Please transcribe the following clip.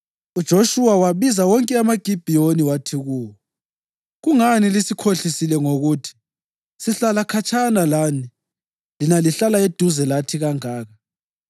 UJoshuwa wabiza wonke amaGibhiyoni wathi kuwo, “Kungani lisikhohlisile ngokuthi, ‘Sihlala khatshana lani, lina lihlala eduzane lathi kangaka?’